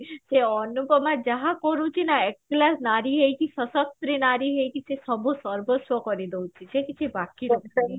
ସେ ଅନୁପମା ଯାହା କରୁଛି ନା excellence ନାରୀ ହେଇକି ସସକ୍ତ୍ରି ନାରୀ ହେଇକି ସେ ସର୍ବସ୍ଵ କରି ଦଉଛି ସେ କିଛି ବାକି ରଖୁନି